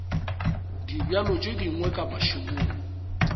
dibjalo tše dingwe ka mašemong